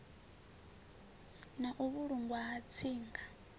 na u vhulungwa ha tsinga